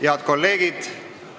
Head kolleegid!